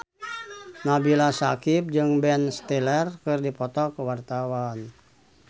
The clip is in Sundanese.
Nabila Syakieb jeung Ben Stiller keur dipoto ku wartawan